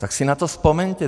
Tak si na to vzpomeňte.